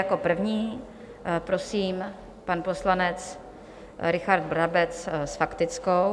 Jako první prosím pan poslanec Richard Brabec s faktickou.